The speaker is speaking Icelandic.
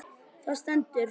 Það stendur